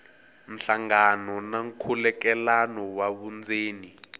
nhlangano na nkhulukelano wa vundzeni